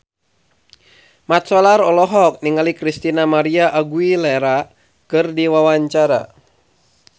Mat Solar olohok ningali Christina María Aguilera keur diwawancara